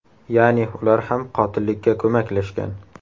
Ya’ni ular ham qotillikka ko‘maklashgan.